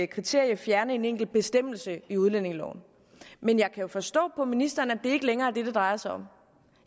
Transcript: kriterie fjerne en enkelt bestemmelse i udlændingeloven men jeg kan jo forstå på ministeren at det ikke længere er det det drejer sig om